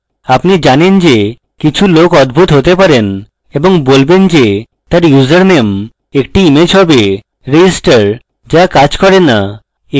আপনি জানেন যে কিছু লোক অদ্ভুত হতে পারেন এবং বলবেন যে তার username একটি image হবে register so কাজ করে so